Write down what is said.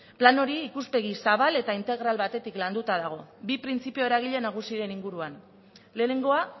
plan hori ikuspegi zabal eta integral batetik landuta dago bi printzipio eragile nagusiren inguruan lehenengoa